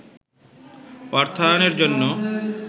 অর্থায়নের জন্য